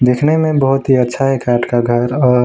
दिखने में बहुत ही अच्छा है का घर औ--